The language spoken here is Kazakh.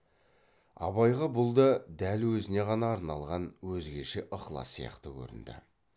абайға бұл да дәл өзіне ғана арналған өзгеше ықылас сияқты көрінді